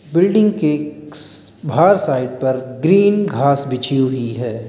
Building के बाहर site पर ग्रीन घास बिछी हुई है।